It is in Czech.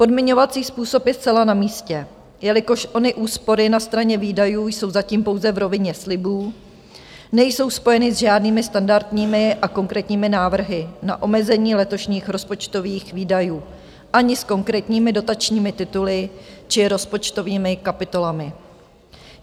Podmiňovací způsob je zcela na místě, jelikož ony úspory na straně výdajů jsou zatím pouze v rovině slibů, nejsou spojeny s žádnými standardními a konkrétními návrhy na omezení letošních rozpočtových výdajů, ani s konkrétními dotačními tituly či rozpočtovými kapitolami.